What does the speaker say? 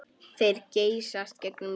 Þeir geysast gegnum loftið.